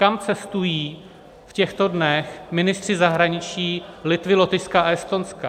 Kam cestují v těchto dnech ministři zahraničí Litvy, Lotyšska a Estonska?